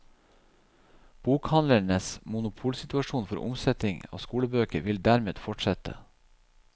Bokhandlernes monopolsituasjon for omsetning av skolebøker vil dermed fortsette.